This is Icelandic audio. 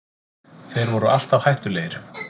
Þeir voru alltaf hættulegir